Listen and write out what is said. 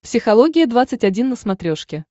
психология двадцать один на смотрешке